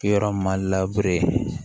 Yɔrɔ ma